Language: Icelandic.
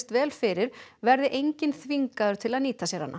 vel fyrir verði enginn þvingaður til að nýta sér hana